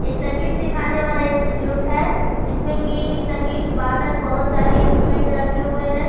एक संगीत सिखाने वाला इंस्टीट्यूट है जिसमें कि संगीत बादक बहुत सारे इंस्ट्रूमेंट रखे हुए हैं ।